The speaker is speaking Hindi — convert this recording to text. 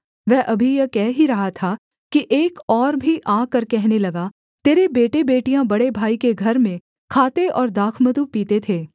वह अभी यह कह ही रहा था कि एक और भी आकर कहने लगा तेरे बेटेबेटियाँ बड़े भाई के घर में खाते और दाखमधु पीते थे